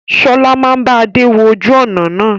Sọlá máa bá Adé wọn ojú ọnà náà.